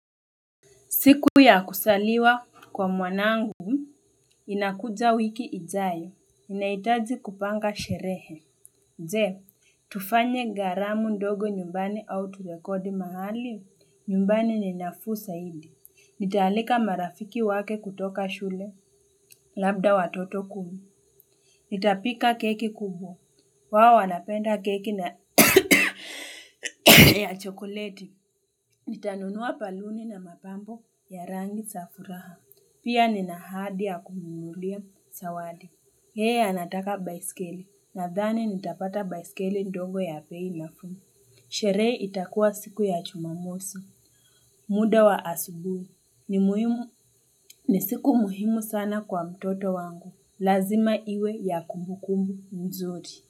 Siku ya kuzaliwa kwa mwanangu, inakuja wiki ijayo. Ninahitaji kupanga sherehe. Je, tufanye karamu ndogo nyumbani au turekodi mahali, nyumbani ni nafuu saidi. Nitaalika marafiki wake kutoka shule, labda watoto kuu. Nitapika keki kubwa. Wao wanapenda keki na chokoleti. Nitanunua baluni na mapambo ya rangi za furaha. Pia nina ahadi ya kumnunulia, zawadi. Yeye anataka baiskeli, nadhani nitapata baiskeli ndogo ya bei nafuu. Sherehe itakua siku ya jumamosi, muda wa asubuhi. Ni siku muhimu sana kwa mtoto wangu. Lazima iwe ya kumbukumbu mzuri.